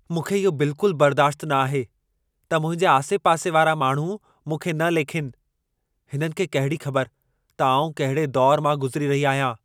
मूंखे इहो बिल्कुल बर्दाश्तु न आहे, त मुंहिंजे आसे-पासे वारा माण्हू मूंखे न लेखिनि। हिननि खे कहिड़ी ख़बर त आउं कंहिड़े दौर मां गुज़िरी रही आहियां।